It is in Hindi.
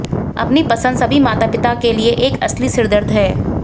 अपनी पसंद सभी माता पिता के लिए एक असली सिरदर्द है